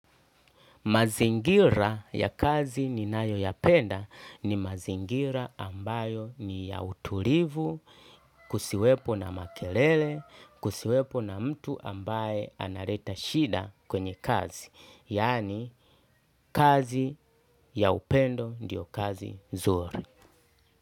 Mazingira ya kazi ninayoyapenda ni mazingira ambayo ni ya utulivu, kusiwepo na makelele, kusiwepo na mtu ambaye analeta shida kwenye kazi. Yaani kazi ya upendo ndio kazi nzuri.